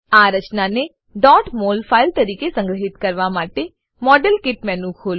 આ રચનાને mol file તરીકે સંગ્રહીત કરવા માટે મોડેલકીટ મેનુ ખોલો